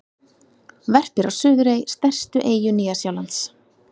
Verpir á Suðurey, stærstu eyju Nýja-Sjálands.